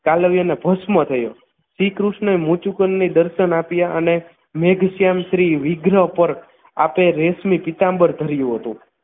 કાલવ્યનને ભસ્મ થયો શ્રીકૃષ્ણએ મુત્સુકનને દર્શન આપ્યા અને મેઘશ્યામ શ્રી વિગ્રહ પર આપે રેશમી પીતાંબર ધર્યું હતું